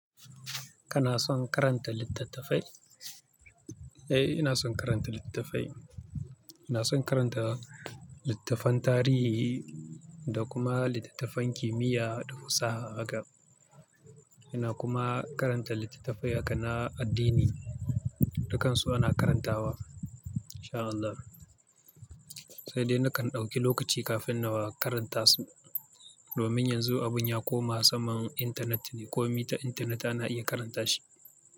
Kana son karanta littattafai? Eh, ina son karanta littattafai. Ina son karanta littattafan tarihi da kuma littattafan kimiyya da fasaha haka. Ina kuma karanta littattafai haka na addini. Dukansu ana karantawa, in sha Allah. Sai dai nakan ɗauki lokaci kafin na karanta su. Domin yanzu abun ya koma saman internet ne, kome ta internet ana iya karanta shi.